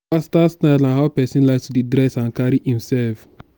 personal style na how pesin like to dey dress and carry imself